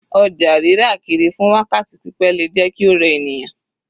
Ọjà rírà kiri fún wákàtí pípẹ́ le jẹ́ kí ó rẹ ènìyàn.